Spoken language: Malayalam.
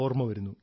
yes sir